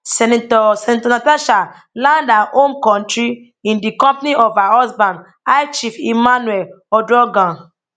senator senator natasha land her home kontri in di company of her husband high chief emmanuel uduaghan